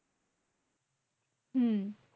হম